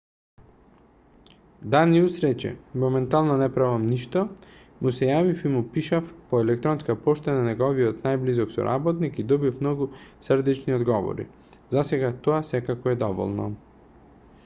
даниус рече моментално не правиме ништо му се јавив и му пишав по електронска пошта на неговиот најблизок соработник и добив многу срдечни одговори засега тоа секако е доволно